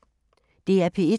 DR P1